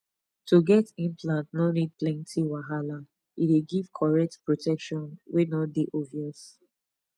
to get implant no need plenty wahala e dey give correct protection wey no dey obvious